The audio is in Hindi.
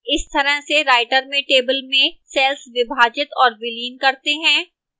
इस तरह से writer में table में cells विभाजित और विलीन करते हैं